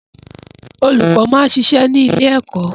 Olùkọ́ máa ń ṣiṣẹ́ ní ilé ẹkọ.